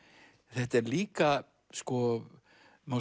þetta er líka má